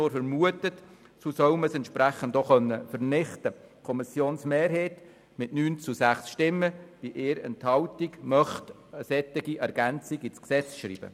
Die Kommissionsmehrheit möchte eine solche Ergänzung mit 9 zu 6 Stimmen bei 1 Enthaltung ins Gesetz schreiben.